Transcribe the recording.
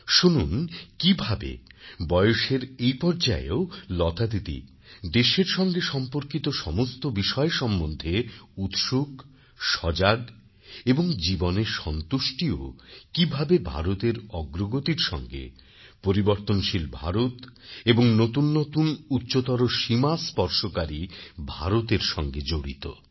শুনুন কীভাবে বয়সের এই পর্যায়েও লতাদিদি দেশের সঙ্গে সম্পর্কিত সমস্ত বিষয় সম্বন্ধে উৎসুক সজাগ এবং জীবনের সন্তুষ্টিও কীভাবে ভারতের অগ্রগতির সঙ্গে পরিবর্তনশীল ভারত এবং নতুন নতুন উচ্চতর সীমা স্পর্শকারী ভারতের সঙ্গে জড়িত